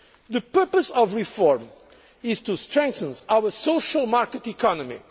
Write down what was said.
to. The purpose of reform is to strengthen our social market economy